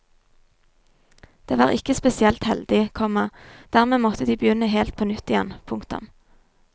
Det var ikke spesielt heldig, komma dermed måtte de begynne helt på nytt igjen. punktum